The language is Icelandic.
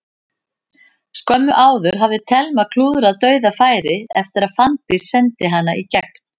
Skömmu áður hafði Telma klúðrað dauðafæri eftir að Fanndís sendi hana í gegn.